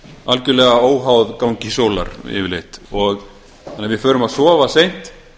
algjörlega óháð gangi sólar yfirleitt þannig að við förum að sofa seint